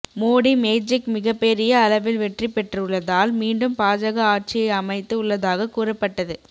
Modi magic மிகப்பெரிய அளவில் வெற்றி பெற்றுள்ளதால் மீண்டும் பாஜக ஆட்சியை அமைத்து உள்ளதாக கூறப்பட்டது